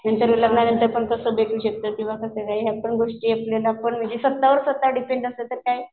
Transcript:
नंतर तसं भेटू शकतं या पण गोष्टी म्हणजे स्वतःवर स्वतः डिपेंड असलं तर काय